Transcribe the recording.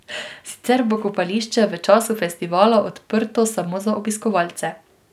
Sicer bo kopališče v času festivala odprto samo za obiskovalce.